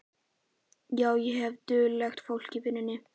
Já, ég hef duglegt fólk í vinnu.